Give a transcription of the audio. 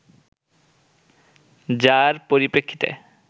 যার পরিপ্রেক্ষিতে